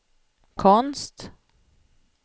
konst